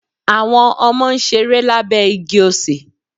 Àwọn Ọmọ n ṣeré lábé igi osè